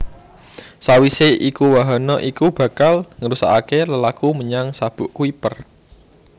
Sawisé iku wahana iki bakal nerusaké lelaku menyang Sabuk Kuiper